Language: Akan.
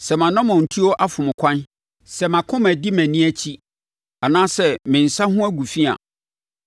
Sɛ mʼanammɔntuo afom ɛkwan, sɛ mʼakoma adi mʼani akyi, anaasɛ me nsa ho agu fi a